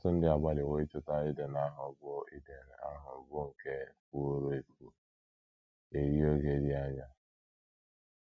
Ọtụtụ ndị agbalịwo ịchọta Iden ahụ bụ́ Iden ahụ bụ́ nke fuworo efu eri oge dị anya.